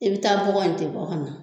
I b'i taa bɔgɔ in tɛ bɔ ka na.